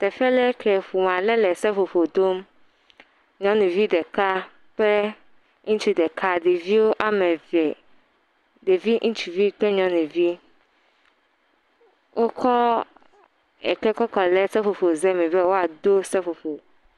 Teƒe ɖe ke ƒome aɖe le seƒoƒo dom. Nyɔnuvi ɖeka kple ŋutsu ɖeka. Ɖevi ame eve, ɖevi ŋutsuvi kple nyɔnuvi. Wokɔ eke kɔ kɔ ɖe seƒoƒo ze me be woado seƒoƒo.